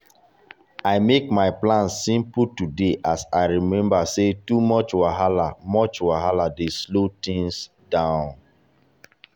i make my plan simple today as i remember say too much wahala much wahala dey slow things down.